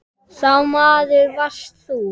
Sá maður varst þú.